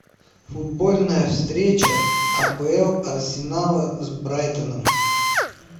футбольная встреча апл арсенала с брайтоном